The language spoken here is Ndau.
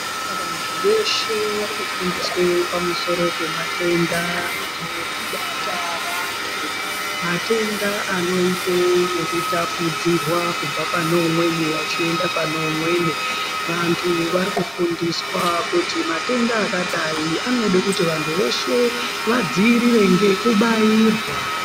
Vantu veshe vari kufundiswe pamusoro pematenda anobata vantu matenda anoite zvekutapudzirwa kubva pane umweni achienda pane umweni vantu vari kufundiswa kuti matenda akadai anoda kuti vantu veshe vadziirire ngekubairwa.